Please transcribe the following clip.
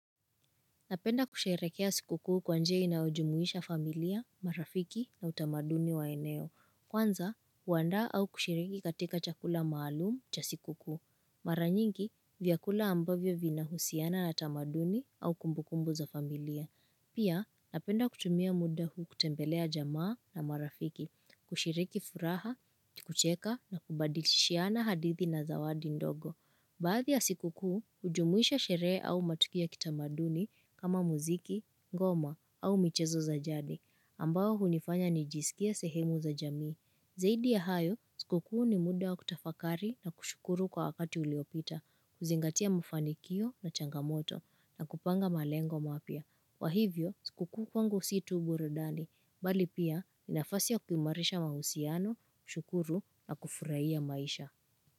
Napenda kusherehekea sikukuu kwa njia inayojumuisha familia, marafiki na utamaduni wa eneo. Kwanza, huanda au kushiriki katika chakula maalumu cha sikukuu. Mara nyingi, vyakula ambavyo vina husiana na tamaduni au kumbukumbu za familia. Pia, napenda kutumia muda huu kutembelea jamaa na marafiki, kushiriki furaha, kucheka na kubadilishiana hadithi na zawadi ndogo. Baadhi ya sikukuu, hujumuisha sherehe au matukio kitamaduni kama muziki, ngoma au michezo za jadi, ambao hunifanya nijiisikie sehemu za jamii. Zaidi ya hayo, sikukuu ni muda wa kutafakari na kushukuru kwa wakati uliyopita, kuzingatia mafanikio na changamoto na kupanga malengo mapya. Kwa hivyo, sikukuu kwangu si tu burudani, bali pia, ni nafasi ya kuimarisha mahusiano, kushukuru na kufurahia maisha.